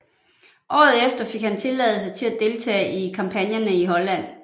Året efter fik han tilladelse til at deltage i kampagnerne i Holland